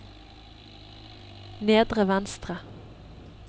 nedre venstre